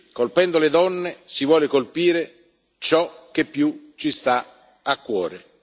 Colpendo le donne, si vuole colpire ciò che più ci sta a cuore.